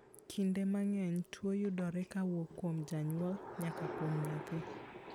Kinde mang'eny, tuo yudore kowuok kuom janyuol nyaka kuom nyathi .